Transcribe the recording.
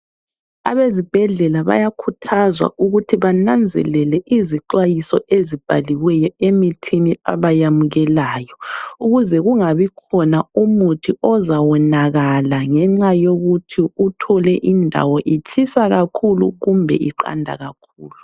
Abezibhedlela bayakhuthazwa ukuthi bananzelele izixwayiso ezibhaliweyo emithini abayamukelayo ukuze kungabikhona umuthi ozawonakala ngenxa yokuthi uthole indawo itshisa kakhulu kumbe iqanda kakhulu.